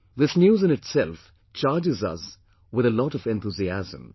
This news in itself charges us with a lot of enthusiasm